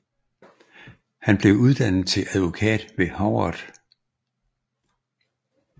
Han blev uddannet til advokat ved Harvard